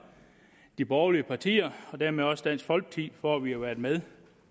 de borgerlige partier og dermed også dansk folkeparti for at være med